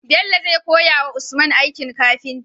Bello zai koya wa usman aikin kafinta?